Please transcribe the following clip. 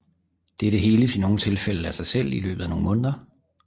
Dette heles i nogle tilfælde af sig selv i løbet af nogle måneder